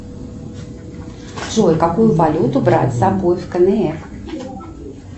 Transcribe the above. джой какую валюту брать с собой в кнр